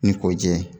Ni kɔ jɛ